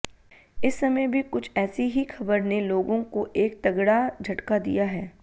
इस समय भी कुछ ऐसी ही खबर ने लोगों को एक तगड़ा झटका दिया है